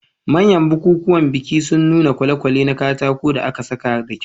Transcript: Manyan bukukuwan biki sun nuna kwale-kwale na katako da aka sassaka da kyau.